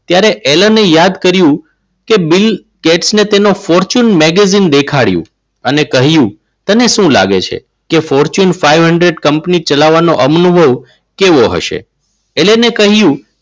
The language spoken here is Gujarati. ત્યારે એને યાદ કર્યું કે બિલ ગેટ્સ અને તેનો fortune magazine દેખાડ્યું. અને કહ્યું તને શું લાગે છે કે fortune five hundred કંપની ચલાવવાનું અનુભવ કેવો હશે? એલને કહ્યું.